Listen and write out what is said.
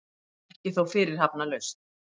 Ekki þó fyrirhafnarlaust.